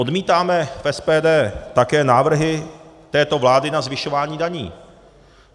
Odmítáme v SPD také návrhy této vlády na zvyšování daní.